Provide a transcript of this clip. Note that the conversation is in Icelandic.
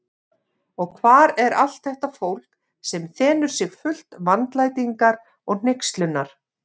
Og hvar er allt þetta fólk, sem þenur sig fullt vandlætingar og hneykslunar?